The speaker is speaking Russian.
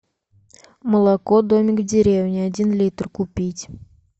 молоко домик в деревне один литр купить